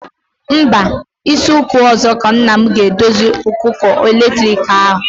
Mba, izu ụka ọzọ ka nna m ga-edozi kuka eletriki ahụ.